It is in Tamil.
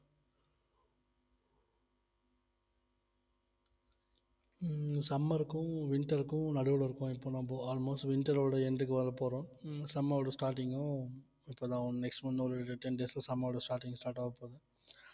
உம் summer க்கும் winter க்கும் நடுவுல இருக்கோம் இப்ப நம்போ almost winter ஓட end க்கு வரப்போறோம் உம் summer ஓட starting உம் இப்பதான் next month ஒரு ten days ல summer உ starting உ start ஆகப்போது